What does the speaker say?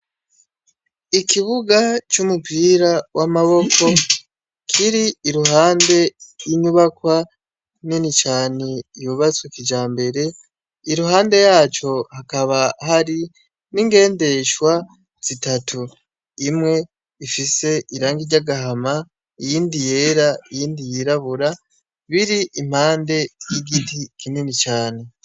Ikibuga cumupira wamaboko kiri iruhande yinyubakwa nini cane yubatswe kijambere iruhande yaco hakaba hari n'ingendeshwa zitatu, imwe ifise irangi ryagahama, iyindi yera, iyindi yirabura biri impande yigiti kinini cane.